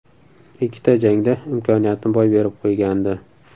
Ikkita jangda imkoniyatni boy berib qo‘ygandi.